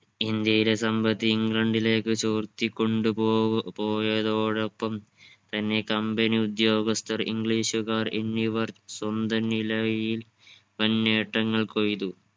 ഇന്ത്യയിലെ സമ്പത്ത് ഇംഗ്ലണ്ടിലേക്കു ചോർത്തിക്കൊണ്ട് പോവ് പോയതോടപ്പം തന്നെ company ഉദ്യോഗസ്ഥർ english കാർ എന്നിവർ സ്വന്തം നിലവിയിൽ വൻ നേട്ടങ്ങൾ കൊയ്തു.